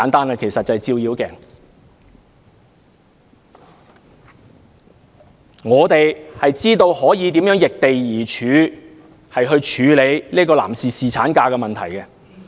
我們應該明白如何易地而處，處理男士侍產假的問題。